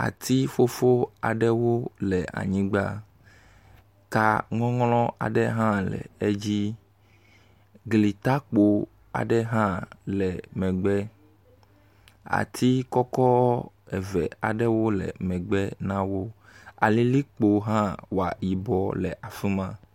Ati ƒuƒu aɖewo le anyigba, ka ŋɔŋlɔ aɖe hã le edzi, gli takpo hã le megbe. Ati kɔkɔ eve aɖewo le megbe na wo. Alilikpowo hã wɔ yibɔ le afi ma.